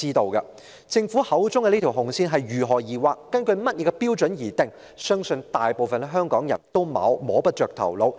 對於政府口中的"紅線"是如何界定，是根據甚麼標準來設定，我相信大部分香港人也摸不着頭腦。